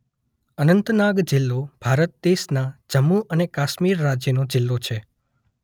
અનંતનાગ જિલ્લો ભારત દેશના જમ્મુ અને કાશ્મીર રાજ્યનો જિલ્લો છે.